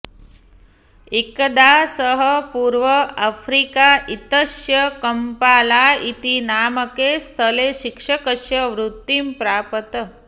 एकदा सः पूर्व अफ्रीका इत्यस्य कम्पाला इति नामके स्थले शिक्षकस्य वृत्तिं प्रापत्